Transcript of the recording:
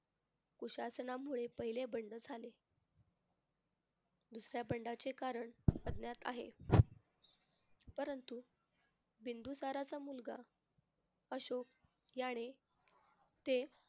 कुशासनामुळे पहिले बंड झाले. दुसऱ्या बंडाचे कारण अज्ञात आहे. परंतु बिंदुसाराचा मुलगा अशोक याने ते